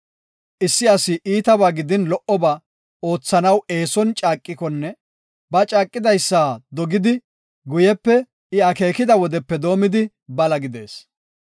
Issi asi iitaba gidin lo77oba oothanaw eeson caaqikonne ba caaqidaysa dogidi, guyepe I akeekida wodepe doomidi bala gidees.